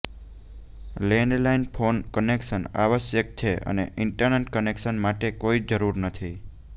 landline phone connection આવશ્યક છે અને ઇન્ટરનેટ કનેક્શન માટે કોઈ જરૂર નથી